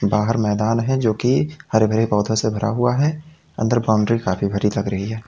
बाहर मैदान है जो की हरे भरे पौधों से भरा हुआ है अंदर बाउंड्री काफी भरी लग रही है।